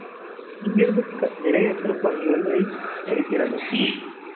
இங்கு இருந்து த நிறைய திருப்பங்களை தெரிகிறது